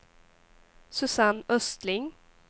Susanne Östling